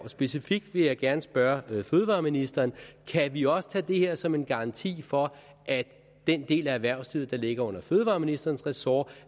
specifikt vil jeg gerne spørge fødevareministeren kan vi også tage det her som en garanti for at i den del af erhvervslivet der ligger under fødevareministerens ressort